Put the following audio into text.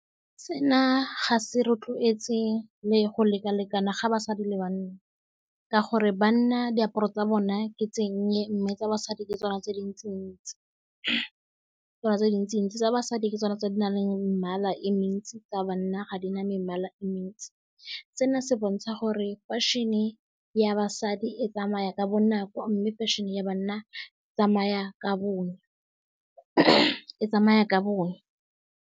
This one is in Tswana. Sena ga se rotloetse le go leka-lekana ga basadi le bana, ka gore banna diaparo tsa bona ke di nnye, mme tsa basadi ke tsona tse dintsi-ntsi, tsona tse dintsi-ntsi tsa basadi ke tsona tse di nang le mebala e mentsi, tsa banna ga di na mebala e mentsi. Seno se bontsha gore washin-e ya basadi e tsamaya ka bonako, mme fashion-e ya banna e tsamaya ka bonya, e tsamaya ka bonya.